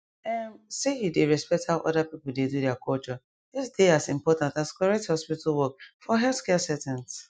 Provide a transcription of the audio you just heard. ehm say you dey respect how other people dey do their culture just dey as important as correct hospital work for healthcare settings